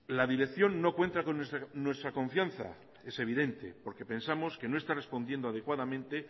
la dirección no cuenta con nuestra confianza es evidente porque pensamos que no está respondiendo adecuadamente